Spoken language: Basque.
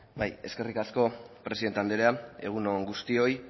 bai eskerrik asko presidente andrea egun on guztioi